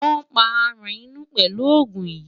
Wàá pa aràn inú pelu òògùn yìí.